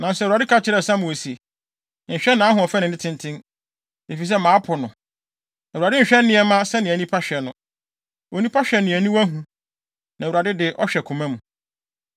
Nanso Awurade ka kyerɛɛ Samuel se, “Nhwɛ nʼahoɔfɛ ne ne tenten, efisɛ mapo no. Awurade nhwɛ nneɛma sɛnea nnipa hwɛ no. Onipa hwɛ nea aniwa hu, na Awurade de, ɔhwɛ koma mu.”